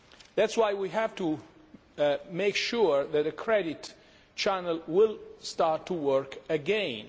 That is why we have to make sure that a credit channel will start to work again.